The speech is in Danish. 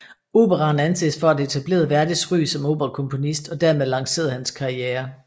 Operaen anses for at have etableret Verdis ry som operakomponist og dermed lanceret hans karriere